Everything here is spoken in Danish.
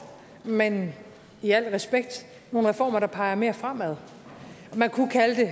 men i al respekt nogle reformer der peger mere fremad man kunne kalde